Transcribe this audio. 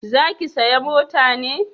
Za ki saya mota ne?